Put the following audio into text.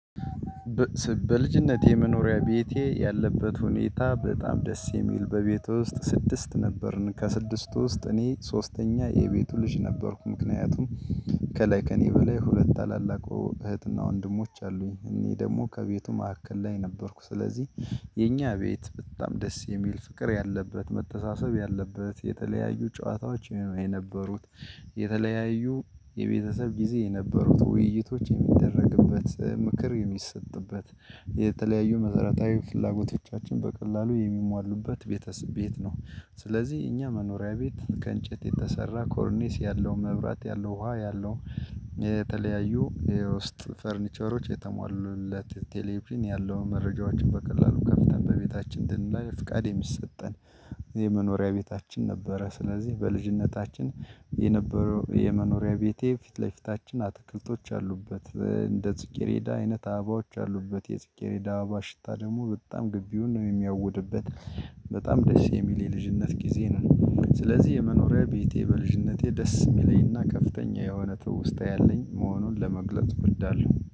በልጅነቴ መኖሪያ ቤቴ ያለበት ሁኔታ በጣም ደስ የሚል በቤት ውስጥ ስድስት ነበርን ከስድስት ውስጥ እኔ ሶስተኛ የቤቱ ልጅ ነበርኩ። ምክንያቱም ከላይ ከእኔ በላይ ሁለት ታላላቆ እህትና ወንድሞች አሉኝ እኔ ደግሞ ከቤቱ መካከል ላይ ነበርኩ ስለዚህ የኛ ቤት በጣም ደስ የሚል ፍቅር ያለበት መተሳሰብ ያለበት የተለያዩ ጨዋታዎች ይሄ ነው የነበሩት። የተለያዩ የቤተሰብ ጊዜ የነበሩት ውይይቶች የሚደረግበት ምክር የሚሰጥበት የተለያዩ መሰረታዊ ፍላጎቶቻችን በቀላሉ የሚሟሉበት ቤት ነው። ስለዚህ የእኛ መኖሪያ ቤት ከእንጨት የተሰራ ኮርኒስ ያለው መብራት ያለው ውሃ ያለው የተለያዩ የውስጥ ፈርኒቸሮች የተሟሉለት ቴሌቪዥን ያለውን መረጃዎችን በቀላሉ ከፍተን በቤታችን ድንበር ፍቃድ የሚሰጠን የመኖሪያ ቤታችን ነበረ። ስለዚህ በልጅነታችን የነበረው የመኖሪያ ቤቴ ፊት ለፊታችን አትክልቶች አሉበት እንደ ጽጌሬዳ አይነት አበባዎች አሉበት የጽጌሬዳ አባባ ሽታ ደግሞ በጣም ግቢውን ነው የሚያውድበት። በጣም ደስ የሚል የልጅነት ጊዜ ነው። ስለዚህ የመኖሪያ ቤቴ በልጅነቴ ደስ የሚለኝና ከፍተኛ የሆነ ትውስታ ያለኝ መሆኑን ለመግለጽ እወዳለሁ